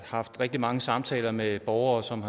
haft rigtig mange samtaler med borgere som